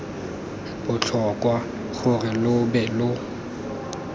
botlhokwa gore lo be lo